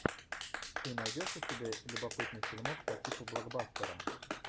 ты найдешь у себя любопытный фильмок по типу блокбастера